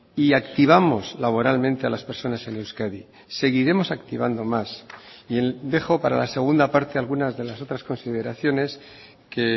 y activamos laboralmente a las personas en euskadi seguiremos activando más y dejo para la segunda parte algunas de las otras consideraciones que